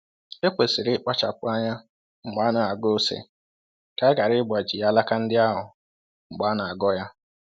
E kwesịrị ikpachapụ anya mgbe anaghọ ose ka a ghara ịgbaji alaka ndị ahụ mgbe a n'aghọ ya.